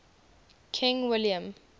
king william